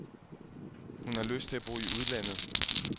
Hun har lyst til at bo i udlandet.